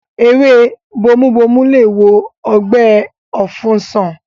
Ewé bomubomu lè wo ọgbẹ́ ọ̀fun sàn